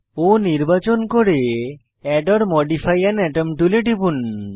O নির্বাচন করে add or modify আন আতম টুলে টিপুন